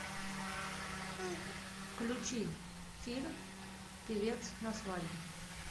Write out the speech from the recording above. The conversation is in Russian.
включи фильм певец на свадьбе